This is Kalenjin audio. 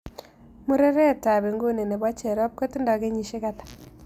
Murereetap inguni ne pocherrop kotindo kenyisiek ata